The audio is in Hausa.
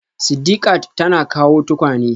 Sidiqat tana kawo tukwane